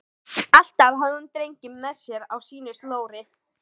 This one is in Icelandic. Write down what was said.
Alltaf hafði hún drenginn með sér á sínu slóri.